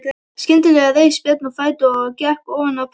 Skyndilega reis Björn á fætur og gekk ofan af pallinum.